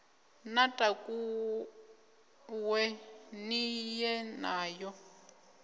ni takuwe ni ye nayo